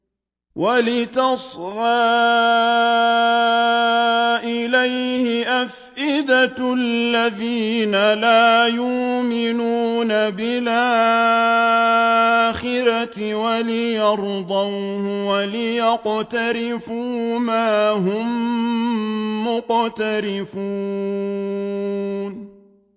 وَلِتَصْغَىٰ إِلَيْهِ أَفْئِدَةُ الَّذِينَ لَا يُؤْمِنُونَ بِالْآخِرَةِ وَلِيَرْضَوْهُ وَلِيَقْتَرِفُوا مَا هُم مُّقْتَرِفُونَ